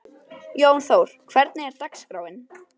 Jónþór, hvernig er dagskráin?